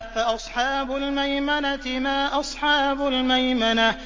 فَأَصْحَابُ الْمَيْمَنَةِ مَا أَصْحَابُ الْمَيْمَنَةِ